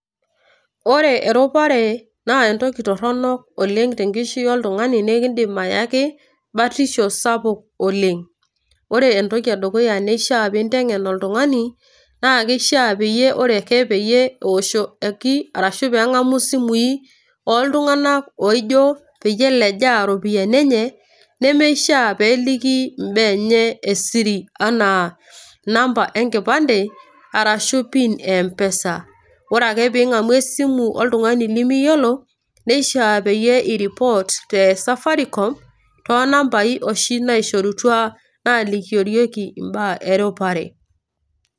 Ore eropare, naa entoki torronok oleng' tenkishui oltung'ani na ekidim ayaki batisho sapuk oleng'. Ore entoki edukuya neishaa ninteng'en oltung'ani, na keishaa Ore ake peyie eoshoki arashu peng'amu isimui, oltung'ani oijon peyie elejaa ropiyaiani enye, nemeishaa peliki imbaa enye esiri, enaa namba enkipande arashu PIN e M-PESA. Ore ake ping'amu esimu oltung'ani limiyiolo, neishaa peyie iripot te safaricom tonambai oshi naishorutua nalikiorieki imbaa eropare.